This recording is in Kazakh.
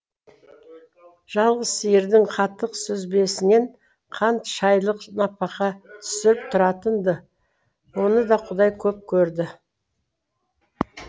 жалғыз сиырдың қатық сүзбесінен қант шайлық напақа түсіп тұратын ды оны да қудай көп көрді